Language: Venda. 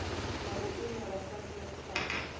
na u imela transnet sa